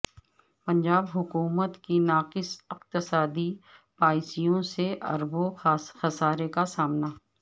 پنجاب حکومت کی ناقص اقتصادی پایسیوں سے اربوں خسارے کا سامنا